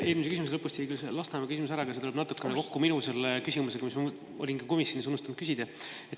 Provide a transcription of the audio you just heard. Eelmise vastuse lõpust jäi veel Lasnamäe teema ära, aga see läheb natukene kokku minu küsimusega, mille ma komisjonis olin unustanud küsida.